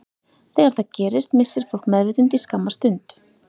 Þegar það gerist missir fólk meðvitund í skamma stund.